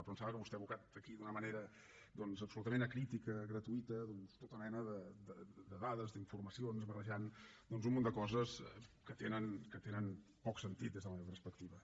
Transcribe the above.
però em sembla que vostè ha abocat aquí d’una manera doncs absolutament acrítica gratuïta tota mena de dades d’informacions barrejant un munt de coses que tenen poc sentit des de la meva perspectiva